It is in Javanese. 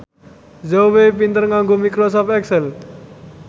Zhao Wei pinter nganggo microsoft excel